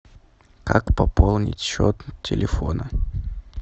как пополнить счет телефона